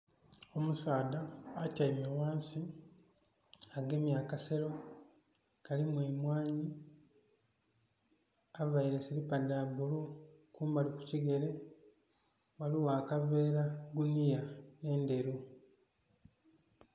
Omusaadha atiame ghansi, agemye akasero kalimu emwani, avaire silipa dha bulu. Kumbali ku kigere waliwo akaveera guniya enderu